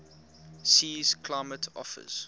sea's climate offers